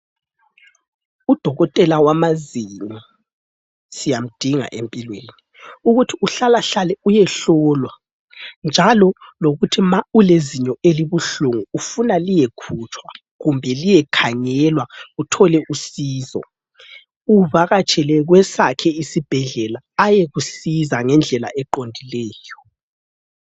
Udokotela wamazinyo siyamdinga empilweni ukuthi uhlalahlale uyehlolwa njalo lokuthi ma ulezinyo elibuhlungu ufuna liyekhutshwa kumbe liyekhangelwa uthole usizo uvakatshele kwesakhe isibhedlela ayekusiza ngendlela eqondileyo.